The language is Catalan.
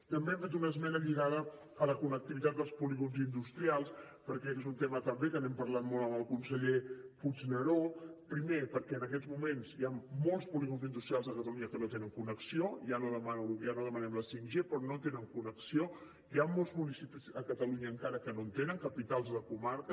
també hem fet una esmena lligada a la connectivitat dels polígons industrials perquè aquest és un tema també que n’hem parlat molt amb el conseller puigneró primer perquè en aquests moments hi han molts polígons industrials a catalunya que no tenen connexió ja no demanem la 5g però no tenen connexió hi han molts municipis a catalunya encara que no en tenen capitals de comarca